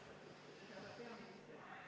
Hea austatud eesistuja!